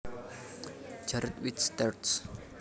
Jared Wicks terj